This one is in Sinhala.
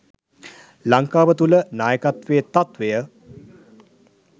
ලංකාව තුළ නායකත්වයේ තත්ත්වය